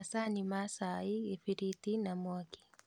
Macani ma cai, gĩbiriti na mwaki